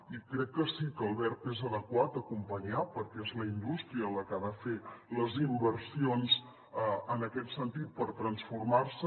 i crec que sí que el verb és adequat acompanyar perquè és la indústria la que ha de fer les inversions en aquest sentit per transformar se